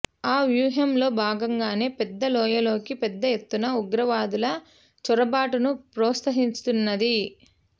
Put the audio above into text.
ఆ వ్యూహంలో భాగంగానే పెద్ద లోయలోకి పెద్దఎత్తున ఉగ్రవాదుల చొరబాటును ప్రోత్సహిస్తున్నది